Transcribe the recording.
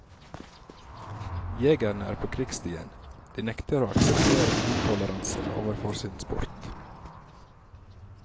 Jegerne er på krigsstien, de nekter å akseptere intoleranse overfor sin sport.